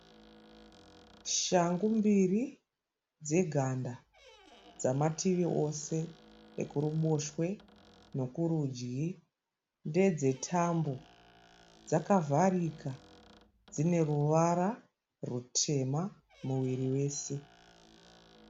Shangu mbiri dzeganda dzamativi ose, ekuruboshwe nokurudyi. Ndedzetambo dzakavharika dIneruvara rutema muviri wese.